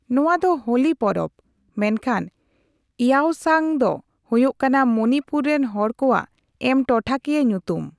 ᱱᱚᱣᱟ ᱫᱚ ᱦᱳᱞᱤ ᱯᱚᱨᱚᱵᱽ ᱢᱮᱱᱠᱷᱟᱱ ᱤᱭᱟᱣᱥᱟᱝ ᱫᱚ ᱦᱳᱭᱳᱜ ᱠᱟᱱᱟ ᱢᱚᱱᱤᱯᱩᱨ ᱨᱮᱱ ᱦᱚᱲ ᱠᱚᱣᱟᱜ ᱮᱢ ᱴᱚᱴᱷᱟᱠᱤᱭᱟᱹ ᱧᱩᱛᱩᱢ ᱾